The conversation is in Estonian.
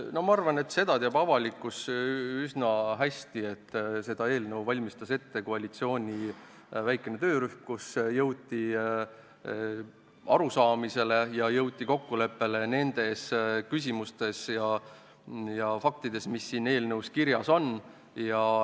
Ma arvan, et avalikkus teab üsna hästi, et seda eelnõu valmistas ette väikene koalitsiooni töörühm, kus jõuti arusaamisele ja kokkuleppele nendes küsimustes ja faktides, mis siin eelnõus kirjas on.